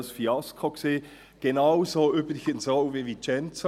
Es war ein finanzielles Fiasko – genauso wie übrigens auch in Vicenza.